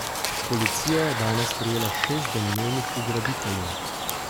Policija je danes prijela šest domnevnih ugrabiteljev.